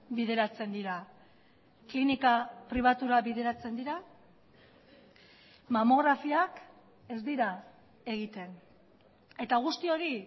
bideratzen dira klinika pribatura bideratzen dira mamografiak ez dira egiten eta guzti hori